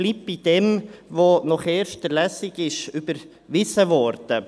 Man bleibt bei dem, was nach der ersten Lesung überwiesen wurde.